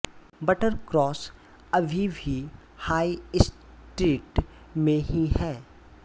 Buttercross अभी भी high street में ही है